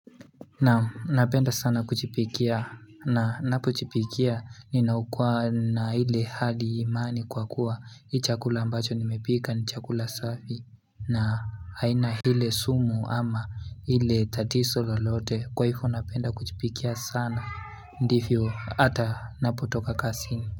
Naam napenda sana kujipikia na ninapojipikia ninakuwa na ile hali imani kwa kuwa hii chakula ambacho nimepika ni chakula safi na aina ile sumu ama ile tatizo lolote kwa hivo napenda kujipikia sana ndivyo hata ninapotoka kazini.